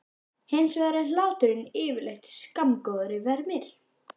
Hins vegar er hláturinn yfirleitt skammgóður vermir.